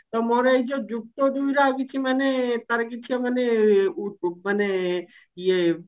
ତ ମୋର ଏଇ ଯଉ ଯୁକ୍ତ ଦୁଇର ଆଉ କିଛି ମାନେ ତାର କିଛି ମାନେ ଉ ଉ ମାନେ ଇଏ